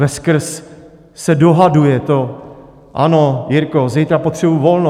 Veskrz se dohaduje to: Ano, Jirko, zítra potřebuji volno.